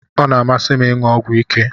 Ọ na-amasị m ịṅụ ọgwụ ike